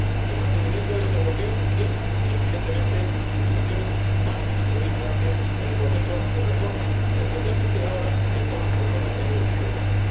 El mantenimiento de este bloqueo tiene, evidentemente, implicaciones negativas —se lo he dicho antes— en el proceso de reforma, especialmente ahora que estamos en el diálogo a tres bandas.